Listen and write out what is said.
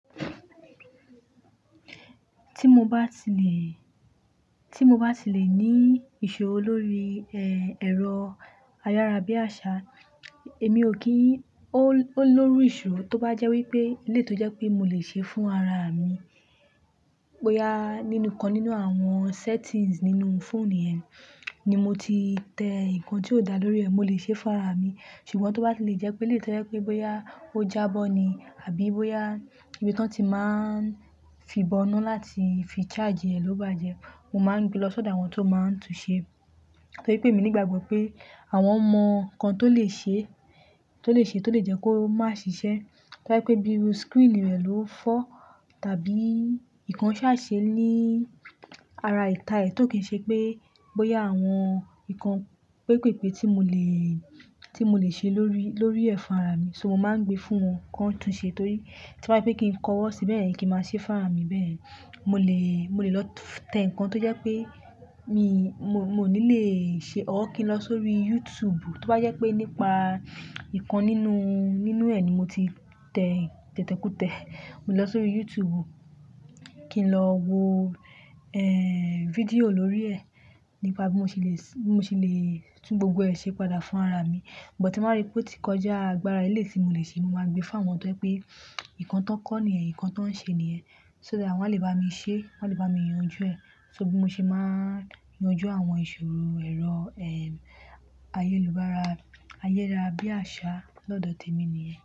Ti mo ba ti le, ti mo ba ti le ni ìṣòro lórí, eh, ẹ̀rọ ayára bí àṣá, èmi ò kí ń, o-oleru ìṣòro tó bá jẹ́ wípé éleyi to jẹ́ pé mo le ṣe fún ara mi. Bóyá nìnu kan nínú àwọn settings nínú fóònù yẹn ni mo ti tẹ ǹkan tí ó dá lórí ẹ, mo le ṣe fún ara mi. Ṣùgbọ́n tó bá fi le jẹ́ pé éleyi to jẹ́ pé bóyá ó jábọ́ ni àbí bóyá ibi tí wọ́n ti máa ń fi bọnu láti fi charge ẹ̀ ló bàjẹ́, mo máa ń gbé lọ sọ́dọ̀ àwọn tó máa ń tun ṣe. Torí pé èmi nígbàgbọ́ pé àwọn mọ̀ kan tó lè ṣe, tó lè ṣe tó lè jẹ́ kó má ṣiṣẹ́. To ba yé pe bí screen rẹ̀ ló fọ́ tàbí ǹkan ṣá ṣe ní ara ìta ẹ̀ tó kì ń ṣe pé bóyá àwọn ǹkan pépèpé tí mo le, tí mo le ṣe lórí, lórí ẹ̀ fún ara mi. So mo máa ń gbé fún wọn kó tun ṣe torí tí bá ye pé kí n kọwọ́ síbẹ̀ beyen kí n máa ṣe fún ara mi bẹ́ẹ̀, mo le, mo le lọ tẹ ǹkan tó jẹ́ pé mi, mo, mo ní lè ṣe ó kí n lọ sórí YouTube. Tó bá jẹ́ pé nípa ǹkan nínú, nínú ẹ̀ ni mo ti tẹ tẹ̀tèkú tẹ, mo lọ sórí YouTube kí n lọ wo, eh, fídíò lórí ẹ̀ nípa bí mo ṣe le, bí mo ṣe lè tún gbogbo ẹ̀ ṣe padà fún ara mi. But tí mo bá rí pé ó ti kọjá agbára eléyi tí mo le ṣe, mo máa gbé fún àwọn tó ye pé ǹkan tán kọ́ ni ẹ, ǹkan tán ṣe ni ẹ. So that wọ́n le bá mi ṣe, wọ́n le bá mi yanjú ẹ̀. So bí mo ṣe máa ń yanjú àwọn ìṣòro ẹ̀rọ, eh, ayélubára, ayélára bí àṣá lọ́dọ̀ tèmi nìyẹn.